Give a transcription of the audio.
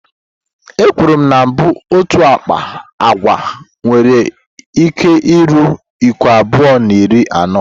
Ekwuru na mbụ otu akpa agwa nwere iko ruru iko abụọ na iri anọ.